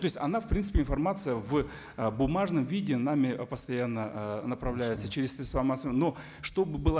то есть она в принципе информация в ы бумажном виде нами постоянно ыыы направляется через но чтобы была